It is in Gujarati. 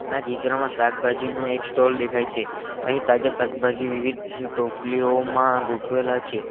આ ચિત્રમાં શાકભાજીનો એક સ્ટોલ દેખાય છે અહીં તાજા શાકભાજી વિવિધ ટોપલીઓમાં ગોઠવેલા છે.